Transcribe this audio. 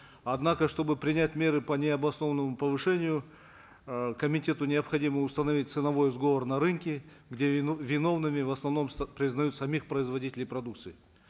однако чтобы принять меры по необоснованному повышению э комитету необходимо установить ценовой сговор на рынке где виновными в основном признают самих производителей продукции